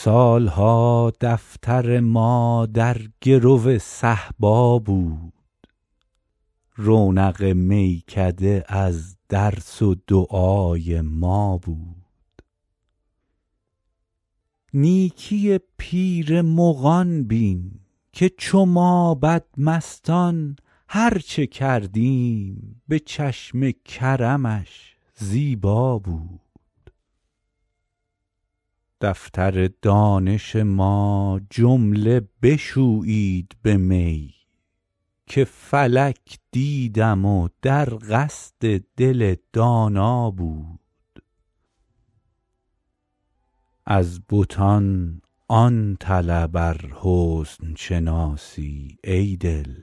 سال ها دفتر ما در گرو صهبا بود رونق میکده از درس و دعای ما بود نیکی پیر مغان بین که چو ما بدمستان هر چه کردیم به چشم کرمش زیبا بود دفتر دانش ما جمله بشویید به می که فلک دیدم و در قصد دل دانا بود از بتان آن طلب ار حسن شناسی ای دل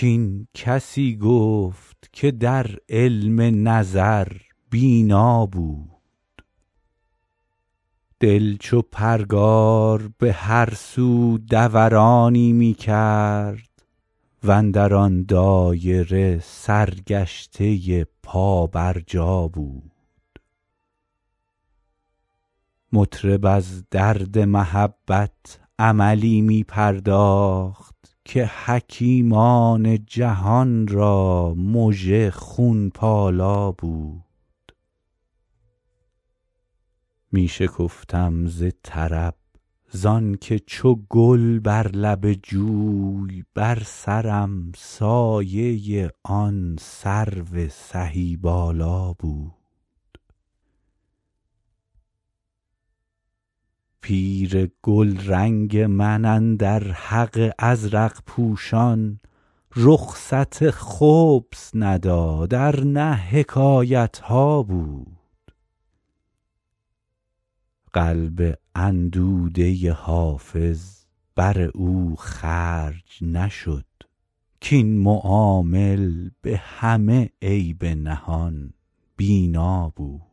کاین کسی گفت که در علم نظر بینا بود دل چو پرگار به هر سو دورانی می کرد و اندر آن دایره سرگشته پابرجا بود مطرب از درد محبت عملی می پرداخت که حکیمان جهان را مژه خون پالا بود می شکفتم ز طرب زان که چو گل بر لب جوی بر سرم سایه آن سرو سهی بالا بود پیر گلرنگ من اندر حق ازرق پوشان رخصت خبث نداد ار نه حکایت ها بود قلب اندوده حافظ بر او خرج نشد کاین معامل به همه عیب نهان بینا بود